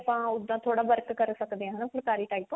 ਆਪਾਂ ਉੱਦਾਂ ਥੋੜਾ work ਕਰ ਸਕਦੇ ਆ ਹਨਾ ਫੁਲਕਾਰੀ type